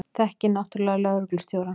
Þekkti náttúrlega lögreglustjórann.